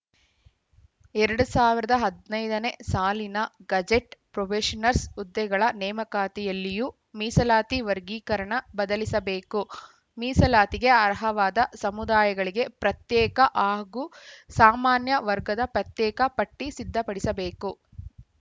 ಎರಡು ಸಾವಿರದ ಹದ್ ನೈದನೇ ಸಾಲಿನ ಗೆಜೆಟ್‌ ಪ್ರೊಬೇಷನ್ಸ್‌ರ್ ಹುದ್ದೆಗಳ ನೇಮಕಾತಿಯಲ್ಲಿಯೂ ಮೀಸಲಾತಿ ವರ್ಗೀಕರಣ ಬದಲಿಸಬೇಕು ಮೀಸಲಾತಿಗೆ ಅರ್ಹವಾದ ಸಮುದಾಯಗಳಿಗೆ ಪ್ರತ್ಯೇಕ ಹಾಗೂ ಸಾಮಾನ್ಯ ವರ್ಗದ ಪ್ರತ್ಯೇಕ ಪಟ್ಟಿಸಿದ್ಧಪಡಿಸಬೇಕು